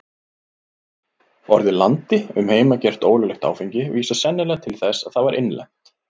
Orðið landi um heimagert, ólöglegt áfengi, vísar sennilega til þess að það var innlent.